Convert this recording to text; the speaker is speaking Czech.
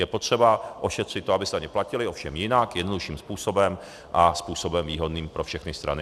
Je potřeba ošetřit to, aby se daně platily, ovšem jinak, jednodušším způsobem a způsobem výhodným pro všechny strany.